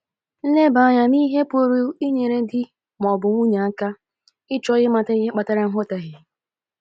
Nleba anya n'ihe pụrụ inyere di ma ọ bụ nwunye aka ịchọ ịmata ihe kpatara nghọtahie.